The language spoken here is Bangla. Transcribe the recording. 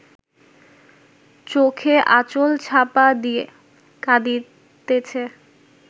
চোখে আঁচল-চাপা দিয়া কাঁদিতেছে